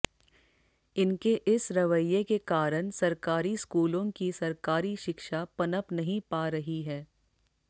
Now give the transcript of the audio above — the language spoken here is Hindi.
इनके इस रवैये के कारण सरकारी स्कूलों की सरकारी शिक्षा पनप नहीं पा रही है